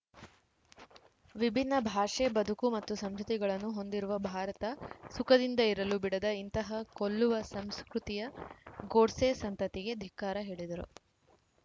ವಿಭಿನ್ನ ಭಾಷೆ ಬದುಕು ಮತ್ತು ಸಂಸ್ಕೃತಿಗಳನ್ನು ಹೊಂದಿರುವ ಭಾರತ ಸುಖದಿಂದ ಇರಲು ಬಿಡದ ಇಂತಹ ಕೊಲ್ಲುವ ಸಂಸ್ಕೃತಿಯ ಗೋಡ್ಸೆ ಸಂತತಿಗೆ ಧಿಕ್ಕಾರ ಹೇಳಿದರು